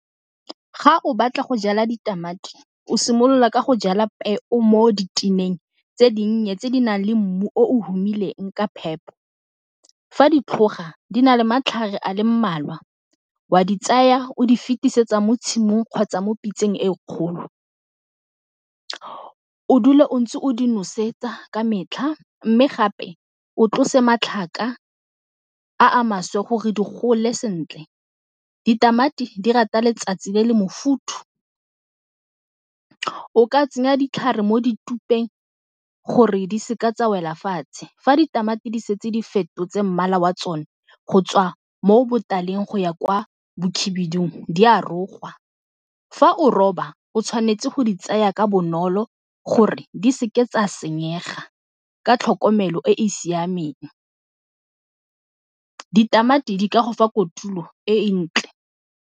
Ga o batla go jala ditamati o simolola ka go jala peo mo diteneng tse dinnye tse di nang le mmu o o humiseng ka phepo fa di tlhoga di na le matlhare a le mmalwa wa di tsaya o di fetisetsa mo tshimong kgotsa mo pitseng e kgolo, o dule o ntse o di nosetsa ka metlha mme gape o tlose matlhaka a a maswe gore di gole sentle. Ditamati di rata letsatsi le le mofuthu. O ka tsenya ditlhare mo ditupeng gore di se ka tsa wela fatshe. Fa ditamati di setse di fetotse mmala wa tsone go tswa mo botaleng go ya kwa bokhibidung di a rogwa, fa o roba o tshwanetse go di tsaya ka bonolo gore di se ke tsa senyega ka tlhokomelo e e siameng, ditamati di ka go fa kotulo e e ntle.